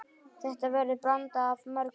Þetta verður blanda af mörgu.